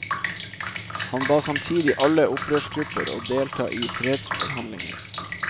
Han ba samtidig alle opprørsgrupper å delta i fredsforhandlinger.